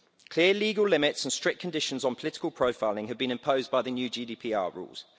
Clear legal limits and strict conditions on political profiling have been imposed by the new GDPR rules.